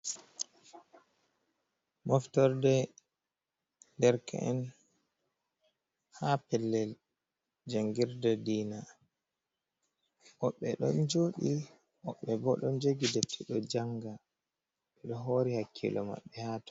Moftorde derk’en ha pellel jangirde diina woɓɓe ɗon joɗi woɓbe ɓo ɗon jogi defte ɗon janga ɓeɗo hori hakkilo maɓɓe haton.